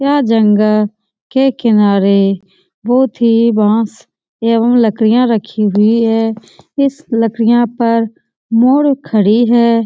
यह जंगल के किनारे बहुत ही बांस एवं लकड़ियाँ रखी हुई है। इस लकड़ियाँ पर मोड़ खड़ी है।